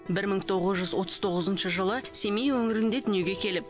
бір мың тоғыз жүз отыз тоғызыншы жылы семей өңірінде дүниеге келіп